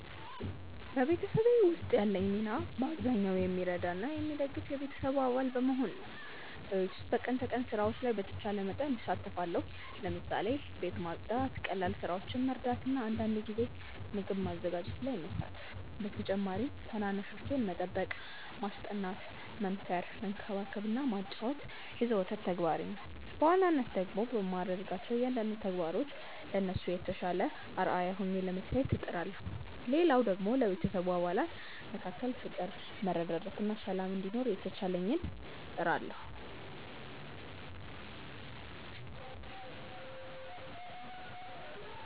በቤተሰቤ ውስጥ ያለኝ ሚና በአብዛኛው የሚረዳ እና የሚደግፍ የቤተሰቡ አባል በመሆን ነው። በቤት ውስጥ በቀን ተቀን ስራዎች ላይ በተቻለ መጠን እሳተፋለሁ። ለምሳሌ፦ ቤት ማጽዳት፣ ቀላል ስራዎችን መርዳት እና አንዳንድ ጊዜ ምግብ ማዘጋጀት ላይ መሳተፍ። በተጨማሪም ታናናሾቼን መጠበቅ፣ ማስጠናት፣ መምከር፣ መንከባከብ እና ማጫወት የዘወትር ተግባሬ ነው። በዋናነት ደግሞ በማድረጋቸው እያንዳንዱ ተግባሮች ለነሱ የተሻለ አርአያ ሆኜ ለመታየት እጥራለሁ። ሌላው ደግሞ ለቤተሰቡ አባላት መካከል ፍቅር፣ መረዳዳት እና ሰላም እንዲኖር የተቻለኝን እጥራለሁ።